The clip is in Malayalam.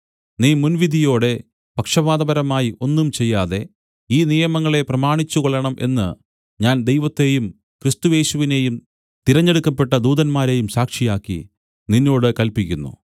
നീ മുൻവിധിയോടെ പക്ഷപാതപരമായി ഒന്നും ചെയ്യാതെ ഈ നിയമങ്ങളെ പ്രമാണിച്ചുകൊള്ളണം എന്ന് ഞാൻ ദൈവത്തെയും ക്രിസ്തുയേശുവിനെയും തിരഞ്ഞെടുക്കപ്പെട്ട ദൂതന്മാരെയും സാക്ഷിയാക്കി നിന്നോട് കല്പിക്കുന്നു